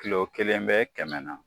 Kilo kelen bɛ kɛmɛ na.